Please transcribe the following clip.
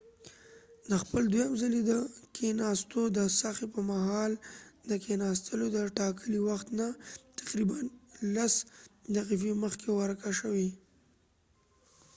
د خپل دوهم ځلی د کېناستو د هڅی په مهال د کېناستلو د ټاکلی وخت نه تقریبا لس دقیفی مخکې ورکه شوه